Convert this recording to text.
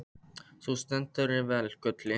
Þú stendur þig vel, Gulli!